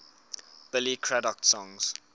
billy craddock songs